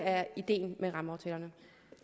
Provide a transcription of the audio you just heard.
er ideen med rammeaftalerne